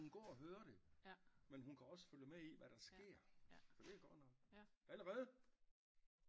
Så hun går og høre det men hun kan også følge med i hvad der sker så det er godt nok allerede